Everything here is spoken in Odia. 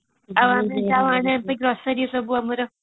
grossory ସବୁ ଆମର